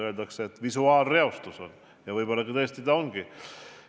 Öeldakse, et visuaalreostus on, ja võib-olla tõesti ongi.